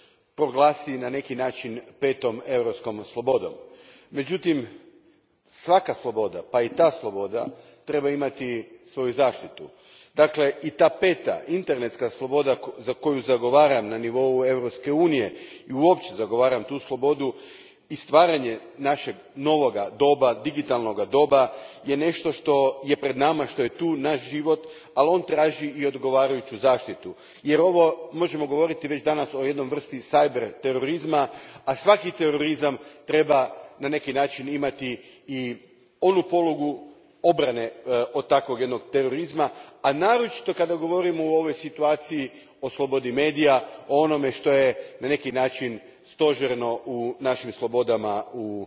Gospođo predsjednice, u jednom prethodnom govoru pozvao sam Komisiju da internetsku slobodu, da digitalno društvo proglasi na neki način petom europskom slobodom. Međutim, svaka sloboda, pa i ta sloboda, trebaju imati svoju zaštitu. Dakle, i ta peta internetska sloboda za koju zagovaram na nivou Europske unije i uopće zagovaram tu slobodu i stvaranje našega novoga doba, digitalnoga doba je nešto što je pred nama, što je tu naš život, al on traži i odgovarajuću zaštitu, jer možemo govoriti već danas o jednoj vrsti cyber terorizma. Svaki terorizam treba na neki način imati i onu polugu obrane od takvog jednog terorizma, a naročito kada govorimo o ovoj situaciji o slobodi medija, o onome što je na neki način stožerno u našim slobodama